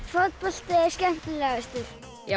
fótbolti er skemmtilegastur